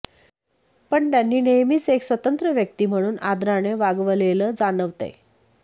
पण त्यांनी नेहमीच एक स्वतंत्र व्यक्ती म्हणून आदराने वागवलेलं जाणवतंय